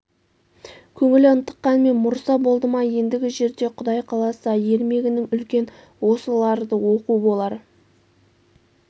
көңілі ынтыққанмен мұрса болды ма ендігі жерде құдай қаласа ермегінің үлкен осыларды оқу болар